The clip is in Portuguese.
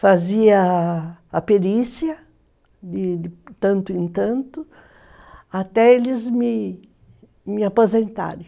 Fazia a perícia, de tanto em tanto, até eles me me aposentarem.